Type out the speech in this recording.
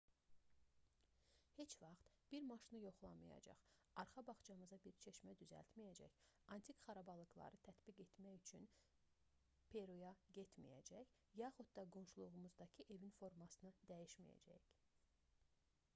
heç vaxt bir maşını yoxlamayacaq arxa bağçamıza bir çeşmə düzəltməyəcək antik xarabalıqları tədqiq etmək üçün peruya getməyəcək yaxud da qonşuluğumuzdakı evin formasını dəyişməyəcəyik